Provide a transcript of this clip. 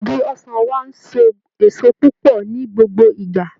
Igi ọsàn wa ń so èso púpọ̀ ní gbogbo ìgbà